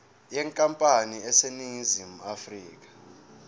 yenkampani eseningizimu afrika